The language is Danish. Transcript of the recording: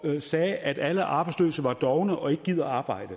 sagde at alle arbejdsløse var dovne og ikke gad arbejde